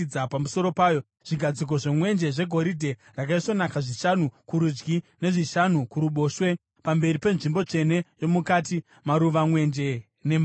zvigadziko zvemwenje zvegoridhe rakaisvonaka (zvishanu kurudyi nezvishanu kuruboshwe pamberi penzvimbo tsvene yomukati); maruva, mwenje nembato, zvegoridhe;